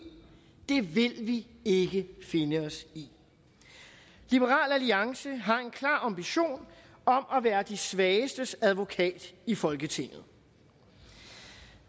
det vil vi ikke finde os i liberal alliance har en klar ambition om at være de svagestes advokat i folketinget